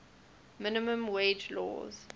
minimum wage laws